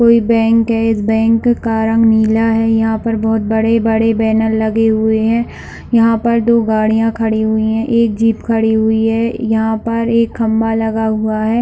Bank है इस bank का रंग नीला है यहाँ पर बहुत बड़े-बड़े बैनर लगे हुए है यहाँ पर दो गाड़ियां खड़ी हुई है एक जीप खड़ी हुई है यहाँ पर एक खंभा लगा हुआ है।